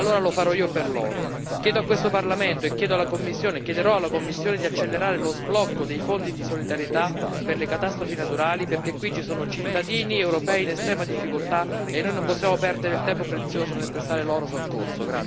Allora lo farò io per loro chiedo a questo Parlamento e chiederò alla Commissione di accelerare lo sblocco dei fondi di solidarietà per le catastrofi naturali, perché qui ci sono cittadini europei in estrema difficoltà e noi non possiamo perdere del tempo prezioso nel prestare loro soccorso.